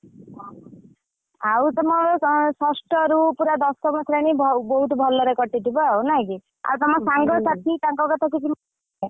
ଆଉ ତମ ଷଷ୍ଠରୁ ପୁରା ଦଶମ ଶ୍ରେଣୀ ବହୁତ ଭଲରେ କଟିଥିବ ଆଉ ନାଇଁକି ଆଉ ତମ ସାଙ୍ଗ ସାଥି ତାଙ୍କ କଥା କିଛି ।